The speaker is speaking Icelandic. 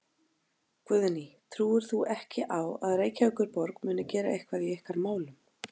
Guðný: Trúir þú ekki á að Reykjavíkurborg muni gera eitthvað í ykkar málum?